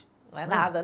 Não é nada